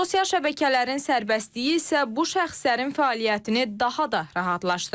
Sosial şəbəkələrin sərbəstliyi isə bu şəxslərin fəaliyyətini daha da rahatlaşdırır.